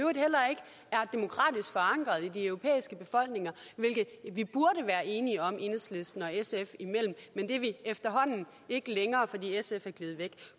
er demokratisk forankret i de europæiske befolkninger hvilket vi burde være enige om enhedslisten og sf imellem men det er vi efterhånden ikke længere fordi sf er gledet væk